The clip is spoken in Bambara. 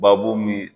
Babu min